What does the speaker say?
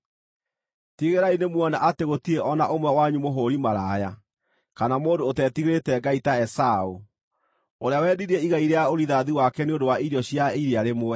Tigĩrĩrai nĩmuona atĩ gũtirĩ o na ũmwe wanyu mũhũũri maraya, kana mũndũ ũtetigĩrĩte Ngai ta Esaũ, ũrĩa wendirie igai rĩa ũrigithathi wake nĩ ũndũ wa irio cia irĩa rĩmwe.